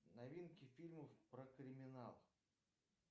новинки фильмов про криминал